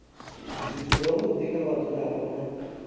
zwithu zwavhudi kha vhadzulapo na